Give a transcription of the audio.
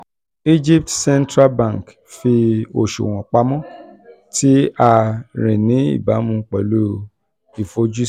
egypt central bank fi oṣuwọn pamọ ti a ri ni ibamu pẹlu ifojusi